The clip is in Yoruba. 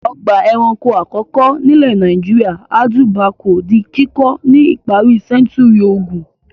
Ọgbà-ẹranko àkọ́kọ́ nílẹ̀ Nàìjíríà Audu Bako di kíkọ́ ní ìparí sẹ́ńtúrì ogún.